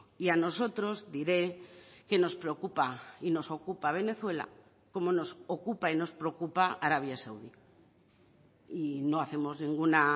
y a nosotros diré que nos preocupa y nos ocupa venezuela como nos ocupa y nos preocupa arabia saudí y no hacemos ninguna